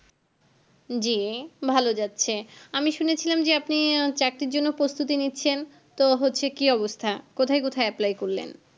যি ভালো যাচ্ছে আমি শুনেছিলাম যে আপনি চাকরির জন্য প্রস্তুতি নিচ্ছেন তো হচ্ছে কি অবস্থা কোথায় কোথায় apply করলেন?